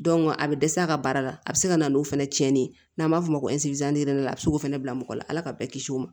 a bɛ dɛsɛ a ka baara la a bɛ se ka na n'o fɛnɛ cɛnni ye n'an b'a f'o ma a bi se k'o fɛnɛ bila mɔgɔ la ala ka bɛɛ kisi o ma